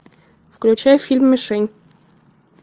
включай фильм мишень